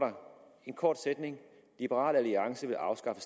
en kort sætning liberal alliance vil afskaffe